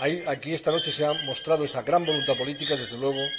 Aquí, esta noche, se ha mostrado esa gran voluntad política, desde luego.